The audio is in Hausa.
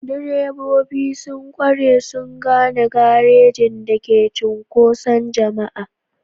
Direbobi sun ƙware sun gano garejin da ke cunkoson jama'a.